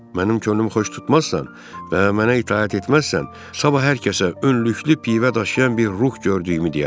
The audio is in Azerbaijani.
Mənim könlümü xoş tutmazsan və mənə itaət etməzsən, sabah hər kəsə önlüklü pivə daşıyan bir ruh gördüyümü deyərəm.